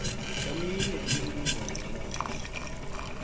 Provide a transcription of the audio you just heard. eminye imininingwana yelwazi